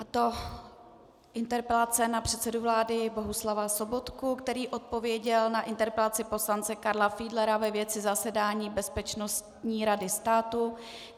Je to interpelace na předsedu vlády Bohuslava Sobotku, který odpověděl na interpelaci poslance Karla Fiedlera ve věci zasedání Bezpečnostní rady státu.